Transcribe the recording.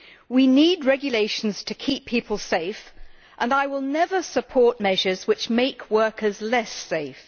We need regulations to keep people safe, and I will never support measures which make workers less safe.